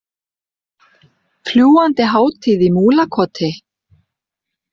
Fljúgandi hátíð í Múlakoti